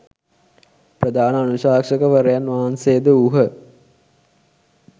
ප්‍රධාන අනුශාසකවරයන් වහන්සේ ද වූහ.